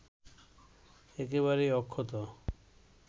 একেবারেই অক্ষত